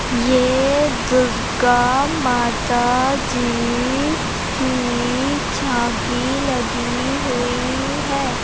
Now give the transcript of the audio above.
ये दुर्गा माता जी कि झांकी लगी हुई है।